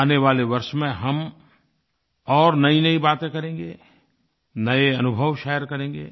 आने वाले वर्ष में हम और नयीनयी बातें करेंगे नये अनुभव शेयर करेंगे